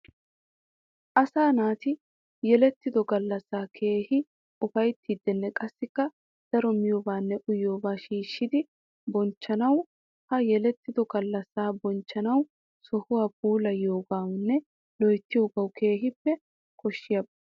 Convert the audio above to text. Asaa naati yeletido galassaa keehi ufayttidinne qassikka daro miyobanne uyiyooba shiishshiddi bonchchees. Ha yeletiddo galassa bonchchanawu sohuwaa puulayiyoogennw loyttiyooge keehippe koshiyaaba.